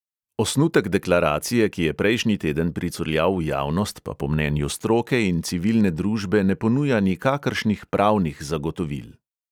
Osnutek deklaracije, ki je prejšnji teden pricurljal v javnost, pa po mnenju stroke in civilne družbe ne ponuja nikakršnih pravnih zagotovil.